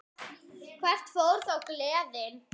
Hvert fór þá gleðin?